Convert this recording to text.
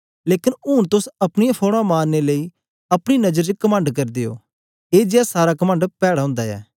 लेकन ऊन तोस अपनीयां फौड़ां मारने लेई अपनी नजर च कमंड करदे ओ ए जेया सारा कमंड पैड़ा ओंदा ऐ